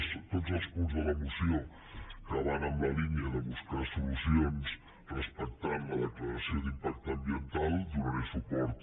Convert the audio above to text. a tots els punts de la moció que van en la línia de buscar solucions respectant la declaració d’impacte ambiental hi donaré suport